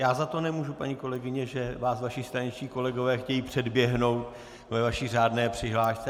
Já za to nemůžu, paní kolegyně, že vás vaši straničtí kolegové chtějí předběhnout ve vaší řádné přihlášce.